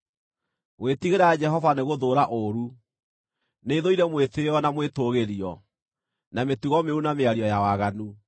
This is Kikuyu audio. Gwĩtigĩra Jehova nĩgũthũũra ũũru; nĩthũire mwĩtĩĩo na mwĩtũũgĩrio, na mĩtugo mĩũru na mĩario ya waganu.